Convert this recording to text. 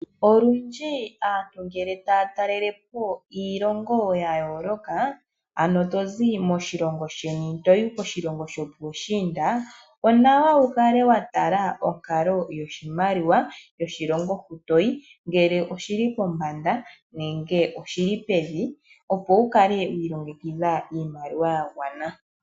Olundji ngele aantu taya talelepo iilongo ya yooloka, ano tozi moshilongo sheni toyi koshilongo sho puushinda, onawa wu kale wa tala onkalo yoshimaliwa yokoshilongo hoka toyi, ngele oshili pombanda nenge odhili pevi, opo wu kale wa longekidha iimaliwa ya gwana.